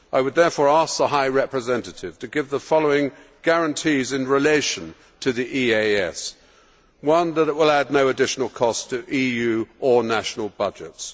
I would therefore ask the High Representative to give the following guarantees in relation to the EAS firstly, that it will add no additional cost to EU or national budgets